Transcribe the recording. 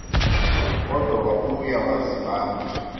kodwa wabuya wazibamba